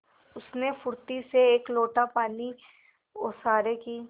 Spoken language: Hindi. उसने फुर्ती से एक लोटा पानी ओसारे की